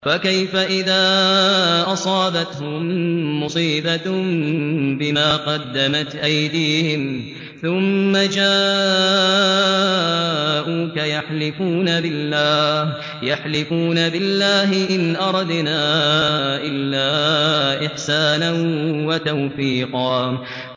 فَكَيْفَ إِذَا أَصَابَتْهُم مُّصِيبَةٌ بِمَا قَدَّمَتْ أَيْدِيهِمْ ثُمَّ جَاءُوكَ يَحْلِفُونَ بِاللَّهِ إِنْ أَرَدْنَا إِلَّا إِحْسَانًا وَتَوْفِيقًا